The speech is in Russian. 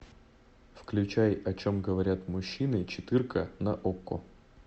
включай о чем говорят мужчины четырка на окко